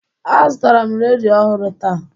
Azụtara m redio ọhụrụ taa